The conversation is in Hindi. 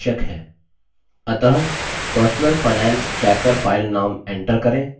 अतः personal finance tracker file name enter करें